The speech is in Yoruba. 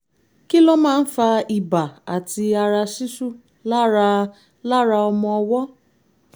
kí ló máa ń fa ibà àti ara ṣíṣú lára lára ọmọ ọwọ́?